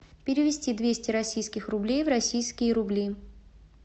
перевести двести российских рублей в российские рубли